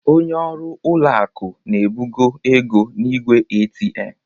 Onye ọrụ ụlọ akụ na-ebugo ego n'igwe ATM